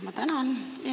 Ma tänan!